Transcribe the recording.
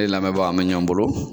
E lamɛnbaa an bɛ ɲɔn bolo.